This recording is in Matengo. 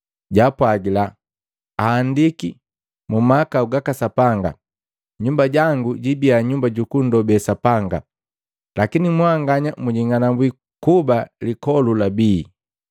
Jwaapwagila, “Ahandiki mu Mahandiku gaka Sapanga, ‘Nyumba jangu jiibia nyumba jukundobe Sapanga.’ Lakini mwanganya mujing'anambwi kuba lipoli la bii!”